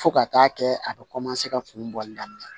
Fo ka taa kɛ a bɛ ka kun bɔli daminɛ